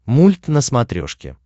мульт на смотрешке